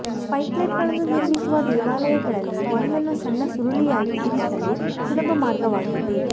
ಸ್ಪೈಕ್ಲೆಟ್ಗಳನ್ನು ನಿರ್ಮಿಸುವ ದೇವಾಲಯಗಳಲ್ಲಿ ಒಂದನ್ನು ಸಣ್ಣ ಸುರುಳಿಯಾಗಿ ಇರಿಸಲು ಸುಲಭ ಮಾರ್ಗವಾಗಿದೆ